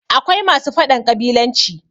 akwai masu faɗan ƙabilanci